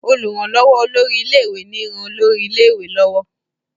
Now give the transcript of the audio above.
olùrànlówó olórí ilé ìwé ní ràn olórí ilé ìwé lọwọ.